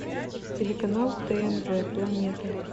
телеканал тнв планета